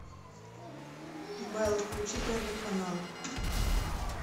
белла включи первый канал